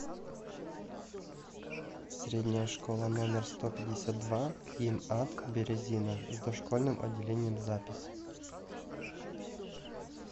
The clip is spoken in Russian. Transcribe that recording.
средняя школа номер сто пятьдесят два им ад березина с дошкольным отделением запись